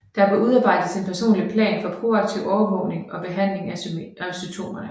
Der bør udarbejdes en personlig plan for proaktiv overvågning og behandling af symptomerne